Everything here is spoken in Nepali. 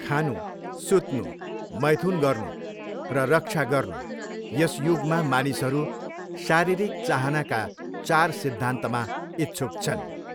खानु, सुत्नु, मैथुन गर्नु, र रक्षा गर्नु यस युगमा मानिसहरू शारीरिक चाहनाका चार सिद्धान्तमा इच्छुक छन्।